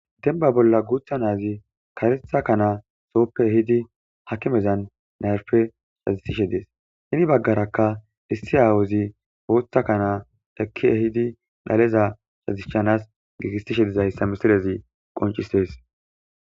demba bolla guutha naazi karetha kanaa sooppe hidi hakimezan nayfe shazistishe dees hini baggarakka issi aawozi ootha kanaa dekkie hidi dhaleza shazishanas giigistishe dizayssa misirezi qoncistees